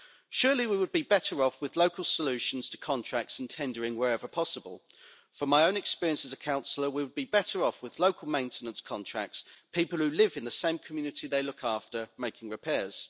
Surely we would be better off with local solutions to contracts and tendering wherever possible. From my own experience as a councillor, we would be better off with local maintenance contracts people who live in the same community they look after making repairs.